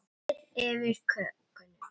Hellið yfir kökuna.